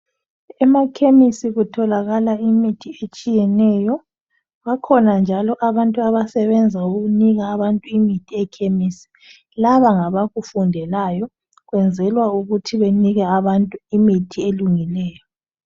Emakhemisi kutholakala imithi etshiyeneyo. Bakhona njalo abantu abasebenza ukunika abantu imithi ekhemisi laba ngabakufundelayo kwenzelwa ukuthi banike abantu imithi elungileyo.